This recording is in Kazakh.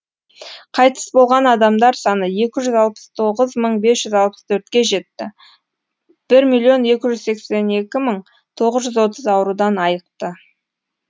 қайтыс болған адамдар саны екі жүз алпыс тоғыз мың бес жүз алпыс төртке жетті бір миллион екі жүз сексен екі мың тоғыз жүз отыз аурудан айықты